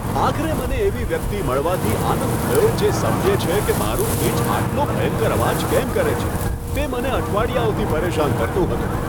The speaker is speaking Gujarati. આખરે મને એવી વ્યક્તિ મળવાથી આનંદ થયો જે સમજે છે કે મારું ફ્રિજ આટલો ભયંકર અવાજ કેમ કરે છે, તે મને અઠવાડિયાઓથી પરેશાન કરતું હતું.